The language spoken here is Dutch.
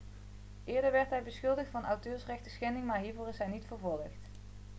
eerder werd hij beschuldigd van auteursrechtschending maar hiervoor is hij niet vervolgd